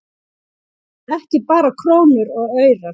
Ekki bara krónur og aurar